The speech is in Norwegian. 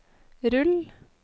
rull